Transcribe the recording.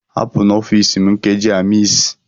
Hapụ n'ọfịs m nkeji a, Miss!